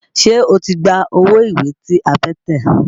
Ṣé o ti gba owó ìwé tí a fẹ́ tẹ̀?